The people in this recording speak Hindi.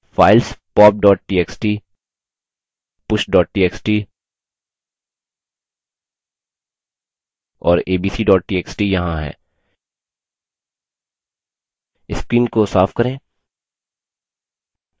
files pop txt push txt और abc txt यहाँ हैं screen को साफ करें